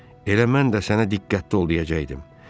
Harvi, elə mən də sənə diqqətli ol deyəcəkdim.